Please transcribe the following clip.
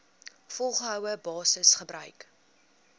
volgehoue basis gebruik